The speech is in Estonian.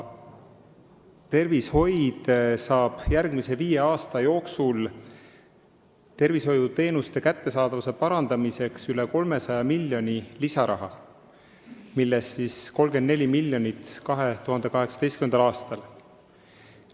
Tervishoid saab järgmise viie aasta jooksul tervishoiuteenuste kättesaadavuse parandamiseks üle 300 miljoni euro lisaraha, millest 34 miljonit eraldatakse 2018. aastal.